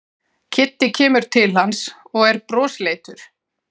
Kiddi kemur til hans og er brosleitur.